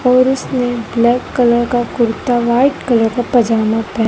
और उसने black colour का कुर्ता वाइट कलर का पजामा--